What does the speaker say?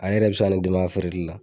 A yɛrɛ bi se ka ne dɛmɛ a feereli la